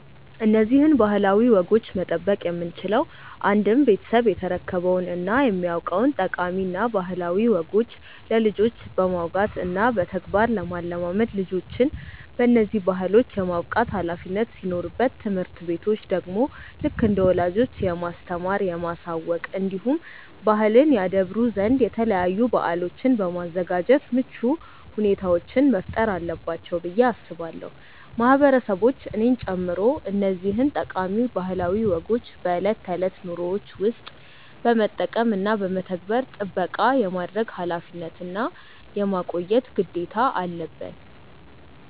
እነዚህን ባህላዊ ወጎች መጠበቅ የምንችለው አንድም ቤተሰብ የተረከበውን እና የሚያውቀውን ጠቃሚ እና ባህላዊ ወጎች ለልጆች በማውጋት እና በተግባር ለማለማመድ ልጆችን በነዚህ ባህሎች የማብቃት ኃላፊነት ሲኖርበት ትምህርት ቤቶች ደግሞ ልክ እንደ ወላጆች የማስተማር፣ የማሳወቅ እንዲሁም ባህልን ያደብሩ ዘንድ የተለያዩ በአሎችን በማዘጋጃት ምቹ ሁኔታዎችን መፍጠር አለባቸው ብዬ አስባለው። ማህበረሰቦች እኔን ጨምሮ እነዚህን ጠቃሚ ባህላዊ ወጎችን በእለት ተእለት ኑሮዎችን ውስጥ በመጠቀም እና በመተግበር ጥበቃ የማድረግ ኃላፊነት እና የማቆየት ግዴታ አለበን።